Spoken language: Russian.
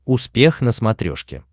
успех на смотрешке